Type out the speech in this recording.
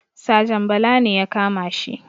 Sajan bala ne ya kamashi